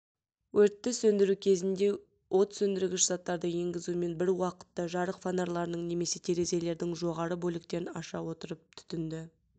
өртті сөндіру кезінде от сөндіргіш заттарды енгізумен бір уақытта жарық фонарларының немесе терезелердің жоғарғы бөліктерін аша отырып түтінді